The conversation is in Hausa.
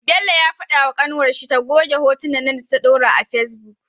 Bello ya fada wa kanwar shi ta goge hotunnan da ta dora a face book